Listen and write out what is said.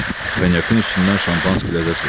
Konyakın üstündən Şampanski ləzzət verir.